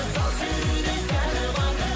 сал серідей сәні бар